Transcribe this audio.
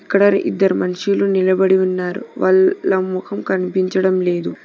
ఇక్కడ ఇద్దరు మనుషులు నిలబడి ఉన్నారు వల్ లా మొహం కనిపించడం లేదు.